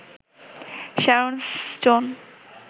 Sharon stone